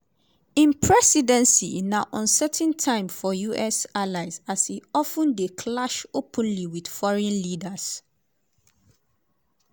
im presidency na uncertain time for us allies as e of ten dey clash openly wit foreign leaders.